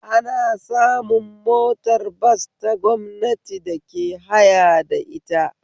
Ana samun motar bas ta gwamnati da ke haya da ita